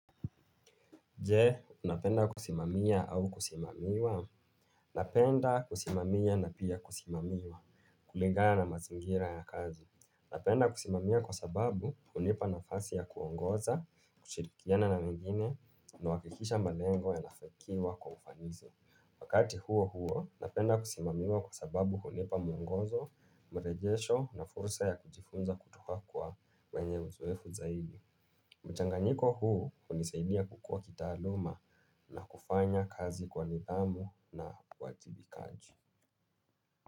Je, unapenda kusimamia au kusimamiwa? Napenda kusimamia na pia kusimamiwa, kulingana na mazingira ya kazi. Napenda kusimamia kwa sababu hunipa nafasi ya kuongoza, kushirikiana na wengine, nahakikisha malengo yanafakiwa kwa ufanisi. Wakati huo huo, napenda kusimamiwa kwa sababu hunipa mwogozo, marejesho na fursa ya kujifunza kutoka kwa wenye uzoefu zaidi. Mchanganyiko huu hunisaidia kukua kitaaluma na kufanya kazi kwa nidhamu na uwajibikaji.